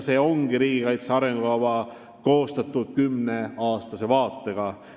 Riigikaitse arengukava ongi koostatud kümneaastase vaatega.